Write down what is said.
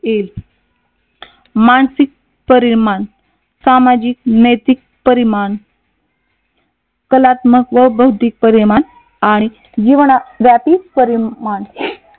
तील मानसिक परिमाण, सामाजिक नैतिक परिमाण, कलात्मक व बौद्धिक परिमाण, आणि जीवनव्यापी परिमाण